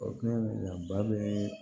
O kun ye a ba bɛ